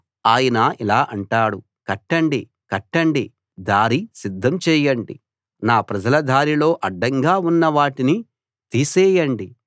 ఆయన ఇలా అంటాడు కట్టండి కట్టండి దారి సిద్ధం చేయండి నా ప్రజల దారిలో అడ్డంగా ఉన్న వాటిని తీసేయండి